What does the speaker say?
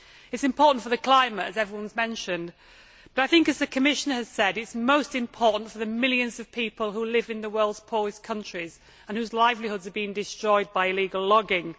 It is important for the climate, as everyone has mentioned, but I think, as the Commissioner has said, it is most important for the millions of people who live in the world's poorest countries and whose livelihoods are being destroyed by illegal logging.